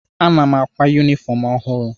Ana m àkwá yunifọm ọhụrụ.